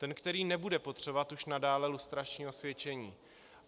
Ten, který nebude potřebovat už nadále lustrační osvědčení.